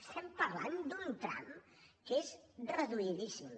estem parlant d’un tram que és reduïdíssim